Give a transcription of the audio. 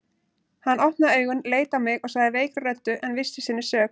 Hann opnaði augun, leit á mig og sagði veikri röddu en viss í sinni sök